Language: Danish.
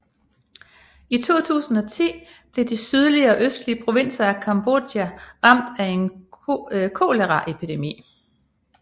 I 2010 blev de sydlige og østlige provinser af Cambodja ramt af en koleraepidemi